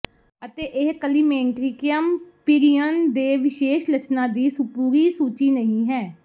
ਅਤੇ ਇਹ climacterium period ਦੇ ਵਿਸ਼ੇਸ਼ ਲੱਛਣਾਂ ਦੀ ਪੂਰੀ ਸੂਚੀ ਨਹੀਂ ਹੈ